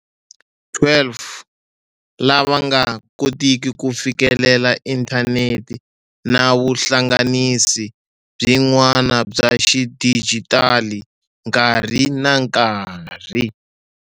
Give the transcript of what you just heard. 12 lava nga koteki ku fikelela inthanete na vuhla-nganisi byin'wana bya xidijitali nkarhi na nkarhi.